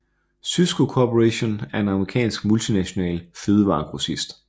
Sysco Corporation er en amerikansk multinational fødevaregrossist